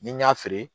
Ni n y'a feere